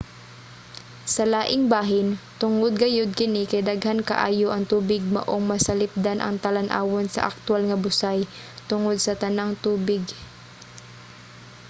sa laing bahin tungod gayod kini kay daghan kaayo ang tubig maong masalipdan ang talan-awon sa aktuwal nga busay - tungod sa tanang tubig!